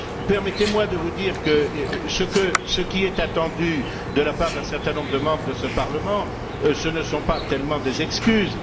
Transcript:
Permettez moi de vous dire que ce qui est attendu de la part d'un certain nombre de membres de ce Parlement, ce ne sont pas tellement des excuses.